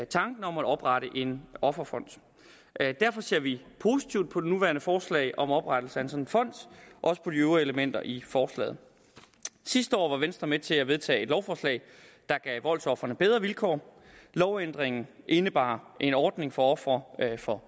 tanken om at oprette en offerfond derfor ser vi positivt på det nuværende forslag om oprettelse af en sådan fond og også på de øvrige elementer i forslaget sidste år var venstre med til at vedtage et lovforslag der gav voldsofrene bedre vilkår lovændringen indebar en ordning for ofre for